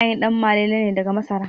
Ana yin Ɗanmalele ne daga masara